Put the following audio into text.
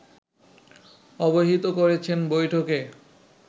অবহিত করেছেন বৈঠকে